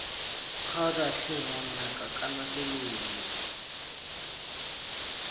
kgaotsa tlhe ngwanaka kana selelo